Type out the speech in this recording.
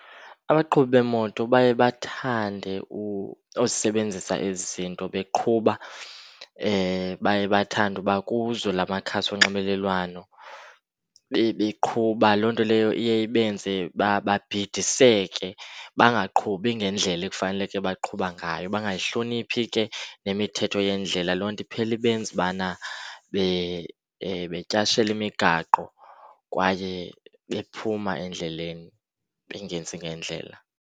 Abaqhubi beemoto baye bathande uzisebenzisa ezi zinto beqhuba. Baye bathande uba kuzo la makhasi onxibelelwano beqhuba. Loo nto leyo iye ibenze babhidaniseke, bangaqhubi ngendlela ekufaneleke baqhuba ngayo, bangayihloniphani ke nemithetho yendlela. Loo nto iphele ibenza ubana betyashela imigaqo kwaye bephuma endleleni, bengenzi ngendlela.